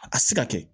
A ka se ka kɛ